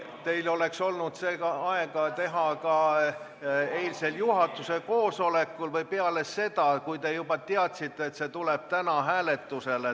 Teil oleks olnud aega teha seda ka eilsel juhatuse koosolekul või peale seda, kui te juba teadsite, et see tuleb täna hääletusele.